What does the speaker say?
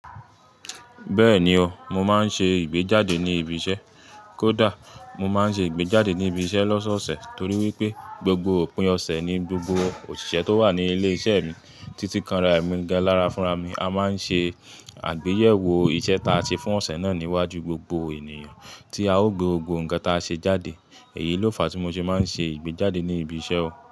Bẹ́ẹ̀ni o, mo máa ń ṣe ìgbéjáde ní ibi iṣẹ́. Kódà mo máa ń ṣe ìgbéjáde ní ibi iṣẹ́ lọ́sọ̀ọ̀sẹ̀ torí wípé gbogbo òpin ọ̀sẹ̀ ni gbogbo òṣìṣẹ́ tó wà ní ilé iṣẹ́ mi títí kanra ẹ̀mí gan lára fúnra mi a máa ń ṣe àgbéyẹ̀wò iṣẹ́ ta ṣe fún ọ̀sẹ̀ náà níwájú gbogbo ènìyàn tí a ó gbe gbogbo nǹkan ta ṣe jáde. Èyí ló fa tí mo ṣe máa ń ṣe ìgbéjáde ní ibi iṣẹ́ o.